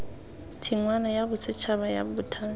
tshingwana ya bosetšhaba ya bothani